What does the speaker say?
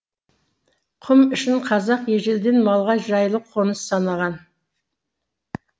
құм ішін қазақ ежелден малға жайлы қоныс санаған